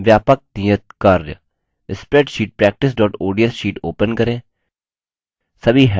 व्यापक नियतकार्य spreadsheet practiceods sheet open करें